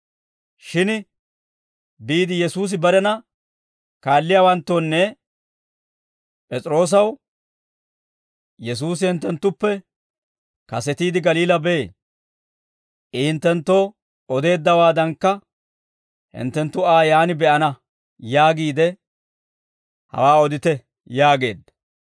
Shin biide Yesuusi barena kaalliyaawanttoonne P'es'iroosaw, ‹Yesuusi hinttenttuppe kasetiide Galiilaa bee; I hinttenttoo odeeddawaadankka hinttenttu Aa yaan be'ana› yaagiide hawaa odite» yaageedda.